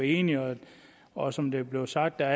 enige og som det er blevet sagt er